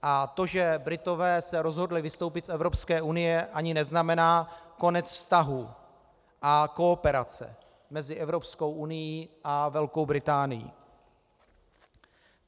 A to, že Britové se rozhodli vystoupit z Evropské unie, ani neznamená konec vztahů a kooperace mezi Evropskou unií a Velkou Británií.